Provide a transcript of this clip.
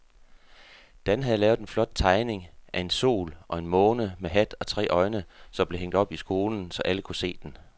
Dan havde lavet en flot tegning af en sol og en måne med hat og tre øjne, som blev hængt op i skolen, så alle kunne se den.